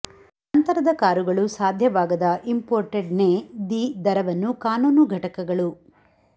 ನಂತರದ ಕಾರುಗಳು ಸಾಧ್ಯವಾಗದ ಇಂಪೋರ್ಟೆಡ್ ನೇ ದಿ ದರವನ್ನು ಕಾನೂನು ಘಟಕಗಳು